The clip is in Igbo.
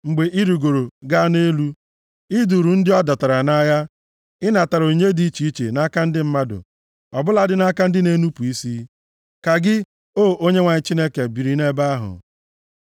Mgbe i rigoro gaa nʼelu, + 68:18 \+xt Mak 16:19; Ọrụ 1:9; Kọl 3:1\+xt* i duuru ndị a dọtara nʼagha + 68:18 \+xt Nkp 5:12; Efe 4:8\+xt*; ị natara onyinye dị iche iche nʼaka ndị mmadụ, ọ bụladị nʼaka ndị na-enupu isi, ka gị, O Onyenwe anyị Chineke, biri nʼebe ahụ.